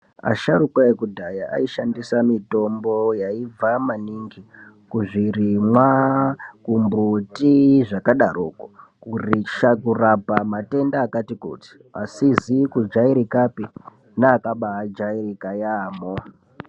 Asharuka ekudhaya aishandisa mitombo yaibva maningi kuzvirimwa, kumbuti zvakadaroko kuitira kurapa matenda akatikuti, asizi kujairikapi neakaba ajairika yaamho.